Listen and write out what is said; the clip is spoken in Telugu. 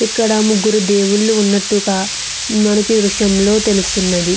ఇక్కడ ముగ్గురు దేవుళ్ళు ఉన్నట్లుగ మనకిదృశ్యంలో తెలుస్తున్నది.